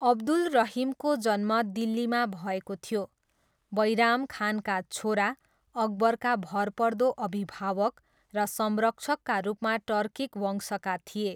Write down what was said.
अब्दुल रहिमको जन्म दिल्लीमा भएको थियो, बैराम खानका छोरा, अकबरका भरपर्दो अभिभावक र संरक्षकका रूपमा टर्किक वंशका थिए।